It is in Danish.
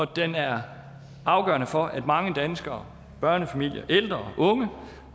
den er afgørende for at mange danskere børnefamilier ældre og unge